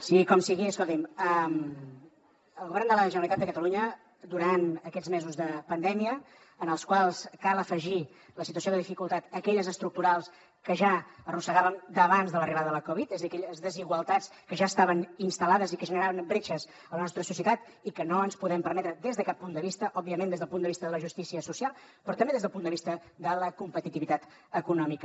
sigui com sigui escolti’m el govern de la generalitat de catalunya durant aquests mesos de pandèmia en els quals cal afegir a la situació de dificultat aquelles estructurals que ja arrossegàvem d’abans de l’arribada de la covid dinou és a dir aquelles desigualtats que ja estaven instal·lades i que generaven bretxes a la nostra societat i que no ens podem permetre des de cap punt de vista òbviament des del punt de vista de la justícia social però també des del punt de vista de la competitivitat econòmica